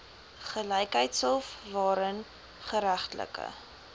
gelykheidshof waarin geregtelike